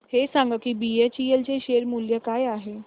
हे सांगा की बीएचईएल चे शेअर मूल्य काय आहे